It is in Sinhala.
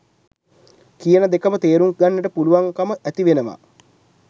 කියන දෙකම තේරුම් ගන්නට පුළුවන් කම ඇතිවෙනවා.